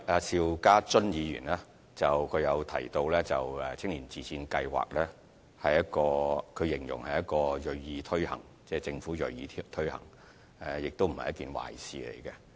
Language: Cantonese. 邵家臻議員提到青年自薦計劃，他形容政府銳意推行這項計劃，亦認為這並非壞事。